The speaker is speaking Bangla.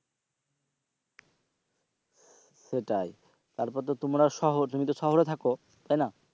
সেটাই তারপর তো তোমরা শহর শহরে থাকো